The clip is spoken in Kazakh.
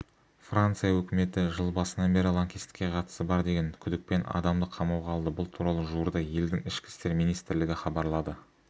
франция өкіметі жыл басынан бері лаңкестікке қатысы бар деген күдікпен адамды қамауға алды бұл туралы жуырда елдің ішкі істер министрлігі хабарлады